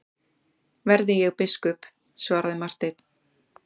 Verði ég biskup, svaraði Marteinn.